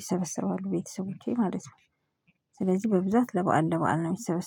ይሰበሰባሉ ቤተሰቦቼ ማለት ነው። ስለዚህ በብዛት ለበአል ለበአል ነው የሚሰበሰበ